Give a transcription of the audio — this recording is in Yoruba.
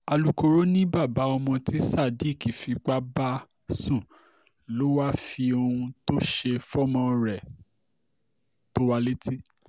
alukoro ni baba ọmọ ti sadiki fipa basun, lo wa fi ohun to ṣe fọmọ rẹ to wa leti